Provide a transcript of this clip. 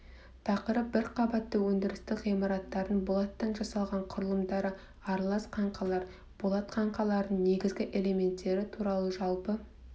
тақырып бір қабатты өндірістік ғимараттардың болаттан жасалған құрылымдары аралас қаңқалар болат қаңқалардың негізгі элементтері туралы жалпы